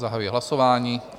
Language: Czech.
Zahajuji hlasování.